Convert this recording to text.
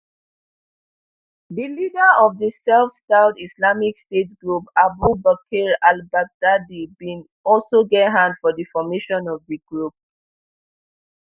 di leader of di self styled islamic state group abu bakr albaghdadi bin also get hand for di formation of di group